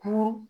Kuru